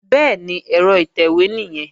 Bẹ́ẹ̀ni, ẹ̀rọ ìtẹ̀wé nìyẹn